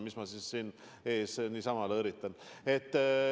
Mis ma siis teie ees siin niisama lõõritan ...